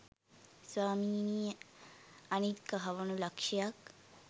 ස්වාමීනී අනිත් කහවණු ලක්ෂයක්